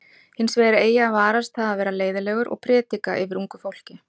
Hins vegar eigi að varast það að vera leiðinlegur og predika yfir ungu fólki.